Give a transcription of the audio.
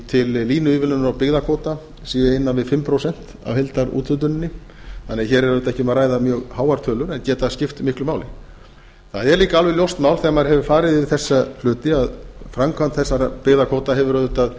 til línuívilnunar á byggðakvóta séu innan við fimm prósent af heildarúthlutuninni þannig að hér er auðvitað ekki um að ræða mjög háar tölur en geta skipt miklu máli það er líka alveg ljóst mál þegar maður hefur farið yfir þessa hluti að framkvæmd þessara byggðakvóta hefur auðvitað